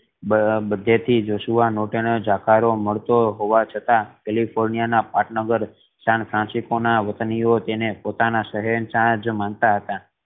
આહ બધે થી Joshua Norton ઝાકારો મળતો હોવા છતાં કેલિફોર્નિયા ના પાટનગર સાન ફ્રાન્સિસકો ના વતનીઓ તેને પોતાના શહેનશાહ અજ માનતા હતા